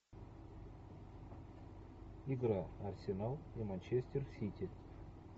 игра арсенал и манчестер сити